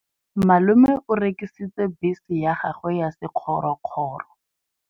Malome o rekisitse bese ya gagwe ya sekgorokgoro.